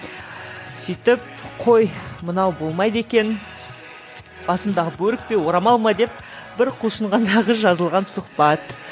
сөйтіп қой мынау болмайды екен басымдағы бөрік пе орамал ма деп бір құлшынғандағы жазылған сұхбат